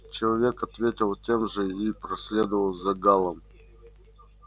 человек ответил тем же и проследовал за гаалом